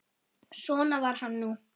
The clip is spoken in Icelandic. Svona var hann nú.